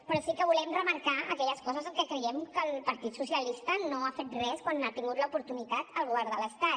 però sí que volem remarcar aquelles coses en què creiem que el partit socialista no ha fet res quan n’ha tingut l’oportunitat al govern de l’estat